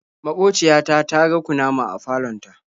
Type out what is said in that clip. Maƙociya ta ta ga kunama a falon ta.